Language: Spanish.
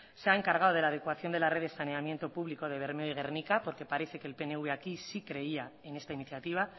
se ha encargado de la adecuación de la red de saneamiento público de bermeo y gernika porque parece que el pnv aquí sí creía en esta iniciativa